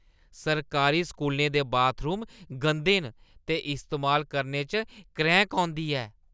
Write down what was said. सरकारी स्कूलें दे बाथरूम गंदे न ते इस्तेमाल करने च क्रैंह्‌क औंदी ऐ।